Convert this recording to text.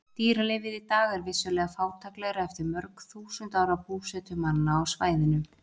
Dýralífið í dag er vissulega fátæklegra eftir mörg þúsund ára búsetu manna á svæðinu.